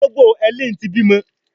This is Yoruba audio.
Ológbò Helen tí bímọ.